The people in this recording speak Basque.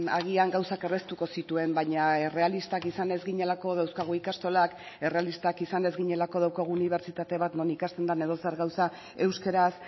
agian gauzak erraztuko zituen baina errealistak izan ez ginelako dauzkagu ikastolak errealistak izan ez ginelako daukagu unibertsitate bat non ikasten den edozer gauza euskaraz